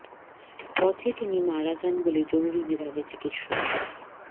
পথে তিনি মারা যান বলে জরুরি বিভাগের চিকিৎসক ডা